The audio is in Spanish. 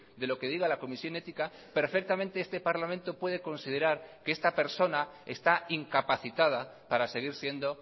de lo que diga la comisión ética perfectamente este parlamento puede considerar que esta persona está incapacitada para seguir siendo